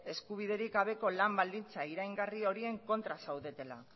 eskubiderik gabeko lan baldintza iraingarri horien kontra zaudetela